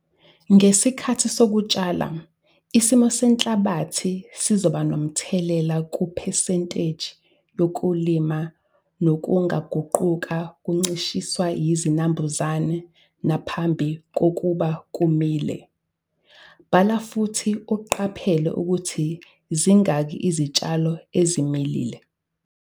Ngesikhathi sokutshala, isimo senhlabathi sizoba nomthelela kuphesenteji yokulima nokungaguquka kuncishiswe yizinambuzane nangaphambi kokuba kumile. Bala futhi uqaphele ukuthi zingakhi izitshalo ezimilile.